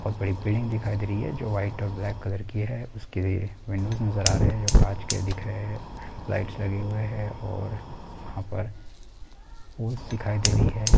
बहुत बड़ी बिल्डिंग दिखाई दे रही है जो वाइट और ब्लैक कलर की है उसके विंडोज नज़र आ रहे है जो कांच के दिख रहे है। लाइट्स लगे हुई है और वहा पर दिखाई दे रही है।